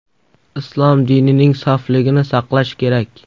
Islom dinining sofligini saqlash kerak.